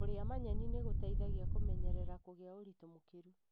Kũria manyeni nĩ gũteithagia kũmenyerera kũgĩa ũritũ mũkĩrũ.